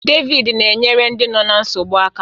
David na-enyere ndị nọ ná nsogbu aka.